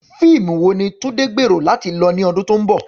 Fíìmù wo ni Tunde gbèrò láti lọ ní ọdún tó ń bọ̀?